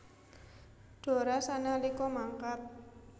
Dora sanalika mangkat